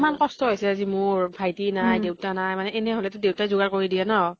মান কষ্ট হৈছে আজি মোৰ। ভাইটি নাই, দেউতা নাই। মানে এনে হলে টো দেইতাই জোগাৰ কৰি দিয়ে ন।